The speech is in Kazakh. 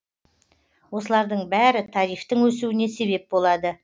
осылардың бәрі тарифтің өсуіне себеп болады